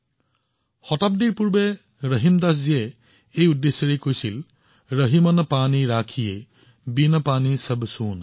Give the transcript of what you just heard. ৰহিমদাসজীয়ে শতিকা পূৰ্বে কোনো এক উদ্দেশ্যৰ বাবে কৈ আহিছে যে ৰহিমন পানী ৰাখিয়ে বিন পানী সব সুন